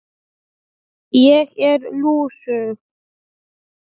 Ég er lúsug.